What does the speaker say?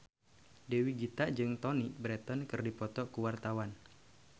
Dewi Gita jeung Toni Brexton keur dipoto ku wartawan